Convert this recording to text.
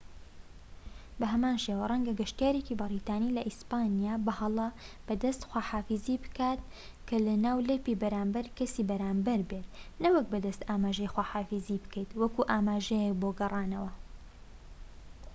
بە هەمان شێوە، ڕەنگە گەشتیارێکی بەریتانی لە ئیسپانیا بە هەڵە بە دەست خواحافیزی بکات کە ناولەپی بەرامبەر کەسی بەرامبەر بێت نەوەک بە دەست ئاماژەی خواحافیزی بکەیت وەک ئاماژەیەک بۆ گەڕانەوە